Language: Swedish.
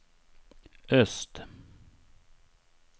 öst